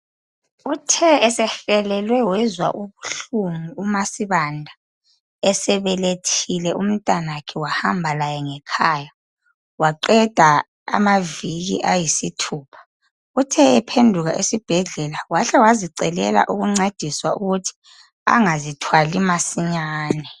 Uthe esehelwe wezwa ubuhlungu umaSibanda esebelethile umntanakhe wahamba laye ngekhaya waqeda amaviki ayisithupha. Uthe ephenduka esibhedlela wahle wazicelela ukuncediswa ukuthi angazithwali masinyane.